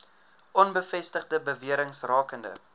onbevestigde bewerings rakende